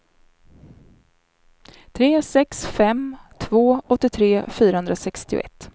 tre sex fem två åttiotre fyrahundrasextioett